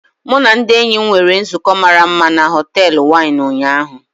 Mụ na ndị enyi m nwere nzukọ mara mma na họtel Wine ụnyaahụ.